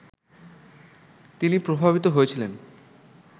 তিনি প্রভাবিত হয়েছিলেন